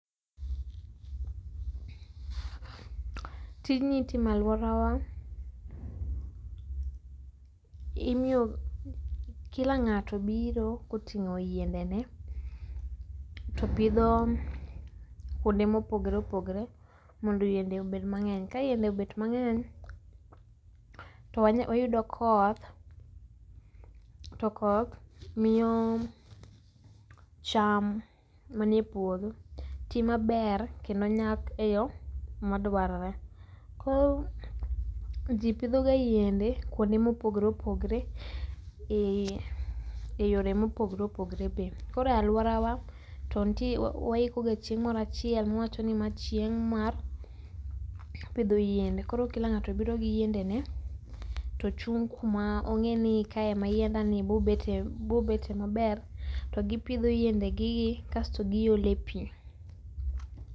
Tijni itimo e alworawa. Imiyo, kila ng'ato biro koting'o yiendene to pidho kuonde mopogore opogore mondo yiende obed mang'eny. Ka yiende obet mang'eny to wanyalo, wayudo koth, to koth miyo cham manie puodho tii maber kendo nyak e yo madwarore. Koro ji pidhoga yiende kuonde mopogore opogore ei yore mopogore opogore be. Koro e alworawa to ntie, waikoga chieng' moro achiel, wawachoni ni ma chieng' mar pidho yiende, koro kila ng'ato biro gi yiendene to ochung' kama ong'eyo ni kae ema yiendani bobetie maber. To gipidho yiendegegi kasto giole pii.